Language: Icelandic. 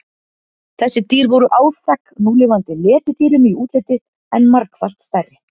Þessi dýr voru áþekk núlifandi letidýrum í útliti en margfalt stærri.